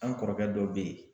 An kɔrɔkɛ dɔ be yen